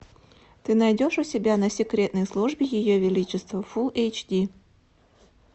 ты найдешь у себя на секретной службе ее величества фул эйч ди